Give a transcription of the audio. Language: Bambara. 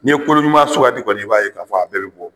Ni ye kolo ɲuman sugandi kɔni , i b'a ye ka fɔ a bɛɛ be bɔ.